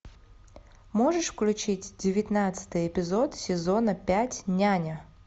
можешь включить девятнадцатый эпизод сезона пять няня